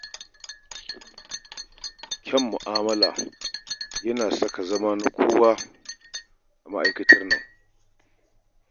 Kyan mu'amulla yana sa ka zama na kowa a ma'aikatar nan.